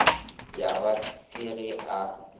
ya ba ke ge a